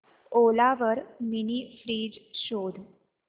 ओला वर mini fridge शोध